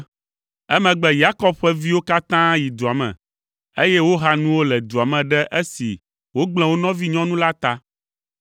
Emegbe Yakob ƒe viwo katã yi dua me, eye woha nuwo le dua me ɖe esi wogblẽ wo nɔvinyɔnu la ta.